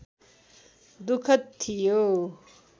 दुःखद थियो